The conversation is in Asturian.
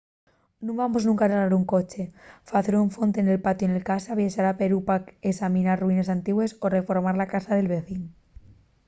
nun vamos nunca arreglar un coche facer una fonte nel patiu de casa viaxar a perú pa esaminar ruines antigües o reformar la casa del vecín